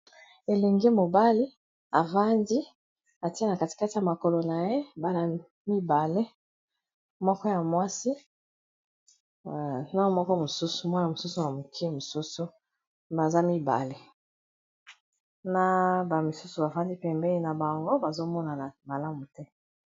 elengi mobali efandi atia na katikati ya makolo na ye bana mibale ya mwasi na mobali ,bamisusu bafandi pembeni na bango bazomonana malamu te.